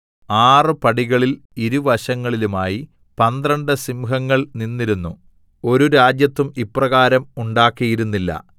ആറ് പടികളിൽ ഇരുവശങ്ങളിലുമായി പന്ത്രണ്ട് സിംഹങ്ങൾ നിന്നിരുന്നു ഒരു രാജ്യത്തും ഇപ്രകാരം ഉണ്ടാക്കിയിരുന്നില്ല